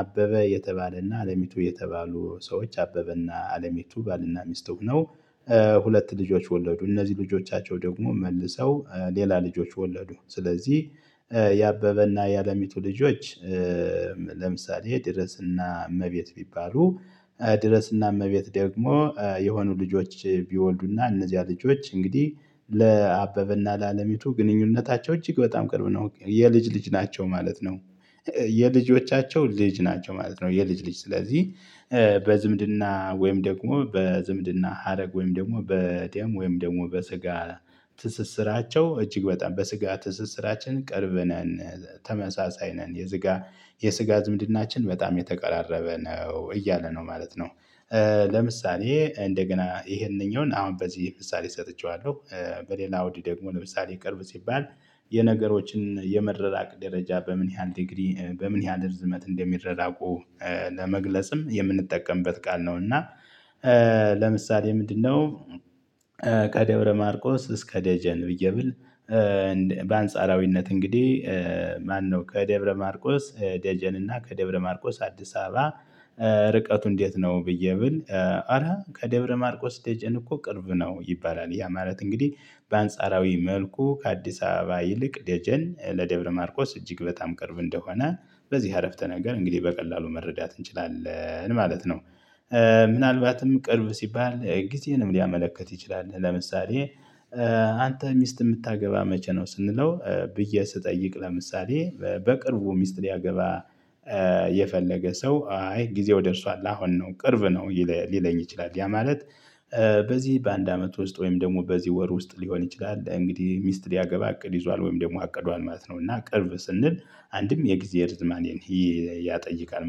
አበበ የተባለና አለሚቱ የተባሉ ሰዎች አበበና አለሚቱ ባልና ሚስት ሁነው ሁለት ልጆች ወለዱ እነዚህ ልጆቻቸው ደግሞ መልሰው ሌላ ልጆች ወለዱ ስለዚህ የአበበና ያለሚቱ ልጆች ለምሳሌ ድረስና እመቤት ቢባሉ ድረስ እና እመቤት ደግሞ የሆኑ ልጆች ቢወልዱና እነዚህ ልጆች እንግዲህ ለአበበና ለአለሚቱ ግንኙነታቸው እጅግ በጣም ቅርብ ነው የልጅ ልጅ ናቸው ማለት ነው። የልጆቻቸው ልጅ ናቸው ማለት ነው የልጅ ልጅ ስለዚህ በዝምድና ወይም ደግሞ በዝምድና ሀረግ ወይም ደግሞ በጤም ወይም ደግሞ በስጋ ትስስራቸው እጅግ በጣም በስጋ ትስስራችን ቅርብ ነን ተመሳሳይ ነን የዝጋ የስጋ ዝምድናችን በጣም የተቀራረበ ነው እያለ ነው ማለት ነው። ለምሳሌ እንደገና ይሄንኛውን አሁን በዚህ ምሳሌ ሰጥቼዋለሁ። በሌላ አውድ ደግሞ ለምሳሌ ቅርብ ሲባል የነገሮችን የመራራቅ ደረጃ በምን ያህል ዲግሪ በምን ያህል ርዝመት እንደሚራራቁ ለመግለጽም የምንጠቀምበት ቃል ነው። እና ለምሳሌ ምንድነው ከደብረ ማርቆስ እስከ ደጀን ብዬ ብል። በአንጻራዊነት እንግዲህ ማነው ከደብረ ማርቆስ ደጀን እና ከደብረ ማርቆስ አዲስ አበባ። ርቀቱ እንዴት ነው ብዬ ብል። አረ ከደብረ ማርቆስ ደጀን እኮ ቅርብ ነው ይባላል ያ ማለት እንግዲህ በአንጻራዊ መልኩ ከአዲስ አበባ ይልቅ ደጀን ለደብረ ማርቆስ እጅግ በጣም ቅርብ እንደሆነ በዚህ አረፍተ ነገር እንግዲህ በቀላሉ መረዳት እንችላለን ማለት ነው። ምናልባትም ቅርብ ሲባል ጊዜንም ሊያመለክት ይችላል ለምሳሌ አንተ ሚስት ምታገባ መቼ ነው? ስንለው ብዬ ስጠይቅ ለምሳሌ በቅርቡ ሚስት ሊያገባ የፈለገ ሰው አይ ጊዜው ደርሷል አሁን ነው ቅርብ ነው ሊለኝ ይችላል ያ ማለት በዚህ በአንድ አመት ውስጥ ወይም ደግሞ በዚህ ወር ውስጥ ሊሆን ይችላል። እንግዲህ ሚስት ሊያገባ እቅድ ይዟል ወይም ደግሞ አቅዷል ማለት ነው እና ቅርብ ስንል። አንድም የጊዜ ርዝማኔን ያጠይቃል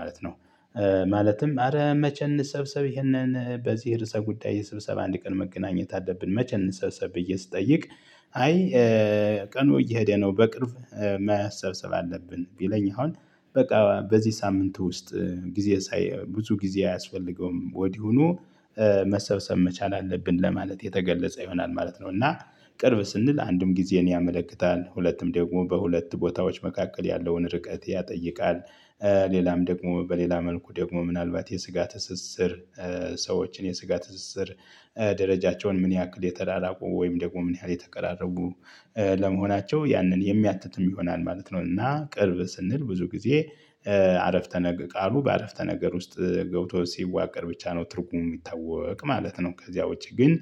ማለት ነው። ማለትም አረ መቼ እንሰብሰብ ይሄንን በዚህ ርዕሰ ጉዳይ ስብሰባ አንድ ቀን መገናኘት አለብን መቼ እንሰብሰብ ብዬ ስጠይቅ? አይ ቀኑ እየሄደ ነው በቅርብ መሰብሰብ አለብን ቢለኝ አሁን በቃ በዚህ ሳምንት ውስጥ ጊዜ ብዙ ጊዜ አያስፈልገውም ወዲሁኑ መሰብሰብ መቻል አለብን ለማለት የተገለጸ ይሆናል ማለት ነው። እና ቅርብ ስንል አንድም ጊዜን ያመለክታል ሁለትም ደግሞ በሁለት ቦታዎች መካከል ያለውን ርቀት ያጠይቃል። ሌላም ደግሞ በሌላ መልኩ ደግሞ ምናልባት የስጋ ትስስር ሰዎችን የስጋ ትስስር ደረጃቸውን ምን ያክል የተራራቁ ወይም ደግሞ ምን ያህል የተቀራረቡ ለመሆናቸው ያንን የሚያትትም ይሆናል ማለት ነው። እና ቅርብ ስንል ብዙ ጊዜ አረፍተ ነገ ቃሉ በአረፍተ ነገር ውስጥ ገብቶ ሲዋቀር ብቻ ነው ትርጉሙ የሚታወቅ ማለት ነው። ከዚያ ውጪ ግን